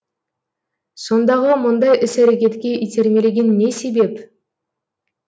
сондағы мұндай іс әрекетке итермелеген не себеп